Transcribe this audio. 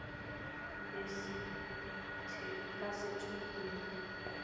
lasethekwini